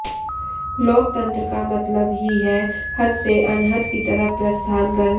लोकतंत्र का मतलब ही है हद से अनहद की तरफ प्रस्थान करना